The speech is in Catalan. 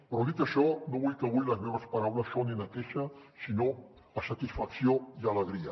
però dit això no vull que avui les meves paraules sonin a queixa sinó a satisfacció i alegria